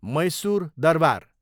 Mysore Darbar